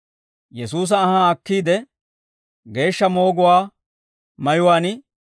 Yesuusa anhaa akkiide, geeshsha mooguwaa mayuwaan